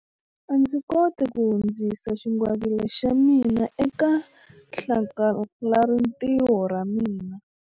A ndzi koti ku hundzisa xingwavila xa mina eka hlakalarintiho ra ra mina.